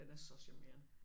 Den er så charmerende